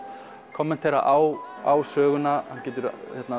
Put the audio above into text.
kommentera á söguna hann getur